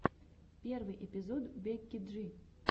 первый эпизод бекки джи